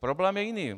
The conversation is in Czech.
Problém je jiný.